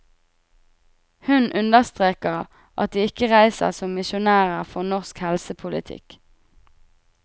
Hun understreker at de ikke reiser som misjonærer for norsk helsepolitikk.